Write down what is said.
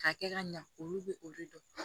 K'a kɛ ka ɲa olu bɛ olu dɔn